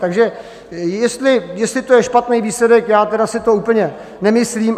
Takže jestli to je špatný výsledek, já tedy si to úplně nemyslím.